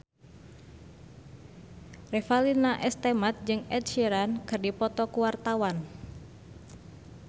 Revalina S. Temat jeung Ed Sheeran keur dipoto ku wartawan